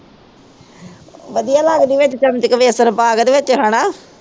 ਵਧਿਆ ਲਗਦੀ ਆ ਵਿਚ ਚਮਚੇ ਚ ਬੇਸਨ ਪਾ ਕੇ ਤੇ ਵਿੱਚ ਹਣਾ